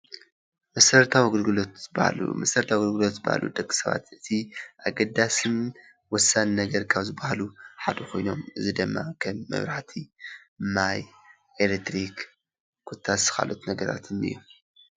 መሰረታዊ አገልግሎት ዝበሃሉ መሰረታዊ አገልግሎት ዝበሃሉ ንደቂ ሰባት እቲ አገዳሲን ወሳኒን ነገር ካብ ዝበሃሉ ሓደ ኮይኖም ፤ እዚ ድማ ከም መብራህቲ፣ ማይ፣ ኤሌትሪክ ኮታስ ካልኦት ነገራት እኒአ እዩ፡፡